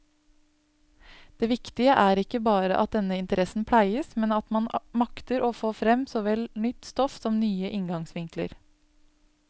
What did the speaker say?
Det viktige er ikke bare at denne interessen pleies, men at man makter få frem såvel nytt stoff som nye inngangsvinkler.